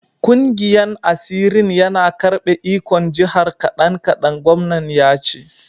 Kungiyan asirin yana karbe ikon jihar kadan-kadan, gwamnan ya ce.